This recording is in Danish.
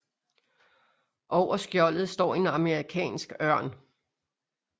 Over skjoldet står en amerikansk ørn